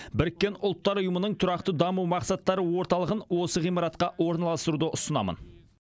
біріккен ұлттар ұйымының тұрақты даму мақсаттары орталығын осы ғимаратқа орналастыруды ұсынамын